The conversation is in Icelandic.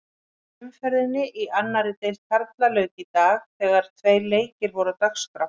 Annarri umferðinni í annarri deild karla lauk í dag þegar tveir leikir voru á dagskrá.